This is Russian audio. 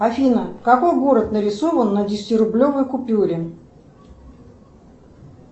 афина какой город нарисован на десятирублевой купюре